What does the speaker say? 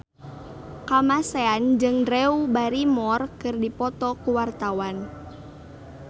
Kamasean jeung Drew Barrymore keur dipoto ku wartawan